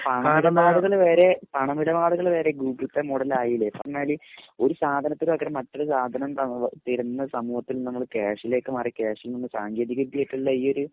പണമിടപാടുകൾ വരെ Google pay model ആയില്ലേ പറഞ്ഞാൽ ഒരു സാധനത്തിന് പകരം മറ്റൊരു സാധനം തരുന്ന സമൂഹത്തിൽ നിന്ന് നമ്മൾ ക്യാഷിലേക്ക് മാറി ക്യാഷിൽ നിന്ന് സാങ്കേതിക വിദ്യ ആയിട്ടുള്ള ഈ ഒരു